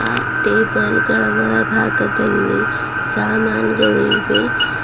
ಆ ಟೇಬಲ್ ಗಳ ಒಳಭಾಗದಲ್ಲಿ ಸಾಮಾನ್ ಗಳು ಇವೆ.